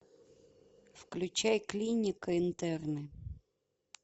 включай клиника интерны